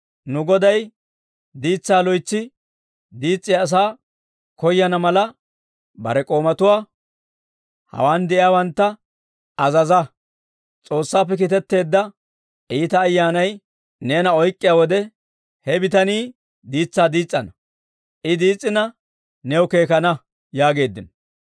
Nu goday diitsaa loytsi diis's'iyaa asaa koyana mala, bare k'oomatuwaa, hawaan de'iyaawantta azazo. S'oossaappe kiitetteedda iita ayyaanay neena oyk'k'iyaa wode, he bitani diitsaa diis's'ana; I diis's'ina new keekana» yaageeddino.